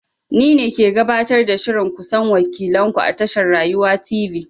Ni ne ke gabatar da shirin ku san wakilan ku a tashar Rayuwa Tv.